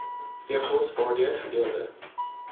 pgos waardeur gedeelde